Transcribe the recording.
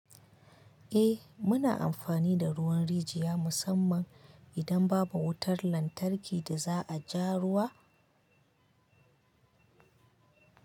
Eh muna amfani da ruwan rijiya musamman idan babu wutar lantarki da za a ja ruwa.